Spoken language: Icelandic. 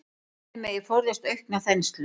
Þannig megi forðast aukna þenslu.